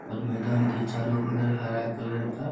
और मैदान के चारों बगल हरा कलर का --